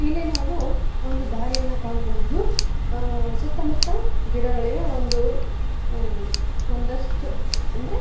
ಇಲ್ಲಿ ನಾವು ಒಂದು ದಾರಿಯನ್ನು ಕಾಣಬಹುದು ಅಹ್ ಸುತ್ತಮುತ್ತ ಗಿಡಗಳಿವೆ ಒಂದು ಒಂದಷ್ಟು ಅಂದ್ರೆ‌ --